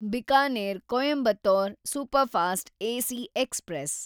Bikaner Coimbatore superfast AC express